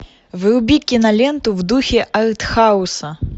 вруби киноленту в духе артхауса